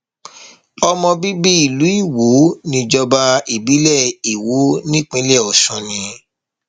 ọmọ bíbí ìlú iwo níjọba ìbílẹ iwọ nípínlẹ ọsùn ni